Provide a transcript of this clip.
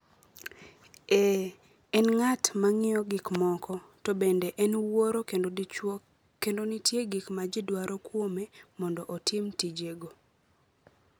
Ee, en ng’at ma ng’iyo gik moko, to bende en wuoro kendo dichuo kendo nitie gik ma ji dwaro kuome mondo otim tijego.